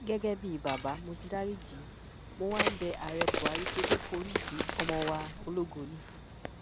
gẹgẹ bíi bàbá mo ti dariji í mo wá ń bẹ ààrẹ buhari pé kó foríjì ọmọ wa ológo yìí